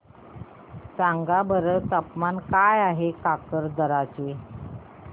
सांगा बरं तापमान काय आहे काकरदरा चे